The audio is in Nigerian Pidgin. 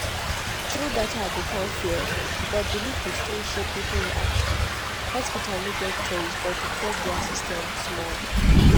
true data go calm fear but belief go still shape people reaction hospital no get choice but to tweak their system small.